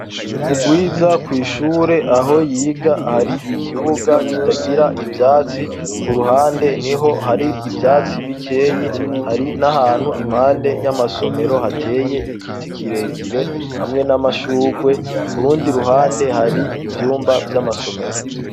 Mu gwiza kw'ishure aho yiga hari ikibuga kitagira ivyatsi ku ruhande ni ho hari ibyatsi bikeyi hari n'ahantu impande y'amasomero hateye igiti kirekire hamwe n'amashugwe kurundi ruhande hari ibyumba vy'amasomero.